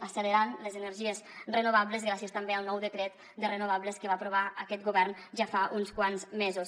accelerant les energies renovables gràcies també al nou decret de renovables que va aprovar aquest govern ja fa uns quants mesos